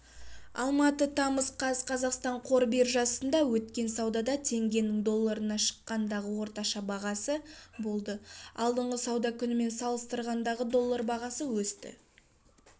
алматы тамыз қаз қазақстан қор биржасында өткен саудада теңгенің долларына шаққандағы орташа бағамы болды алдыңғы сауда күнімен салыстырғанда доллар бағасы өсті